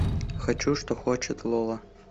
хочу что хочет лола